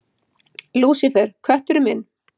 Lúsífer, kötturinn minn.